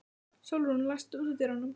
Sólrún, læstu útidyrunum.